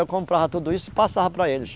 Eu comprava tudo isso e passava para eles.